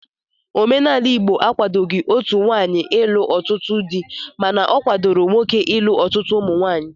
Omenala Igbo akwadoghị otu nwaanyị ịlụ ọtụtụ di mana ọ kwadoro nwoke ilu ọtụtụ ụmụnwaanyị